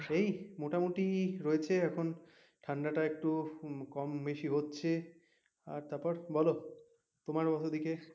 এই মোটামুটি রয়েছে এখন ঠান্ডাটা একটু কম বেশি হচ্ছে আর তারপর বলো তোমার ওদিকের,